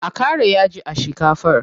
A ƙara yaji a shikafar.